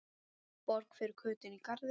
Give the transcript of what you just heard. Borg fyrir Kötu inní garði.